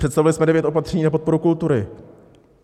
Představili jsme devět opatření na podporu kultury.